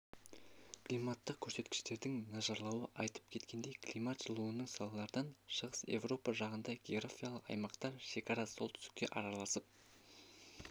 климаттық көрсеткіштердің нашарлауы айтып кеткендей климат жылынуының салдарынан шығыс еуропа жазығында географиялық аймақтар шекарасы солтүстікке араласып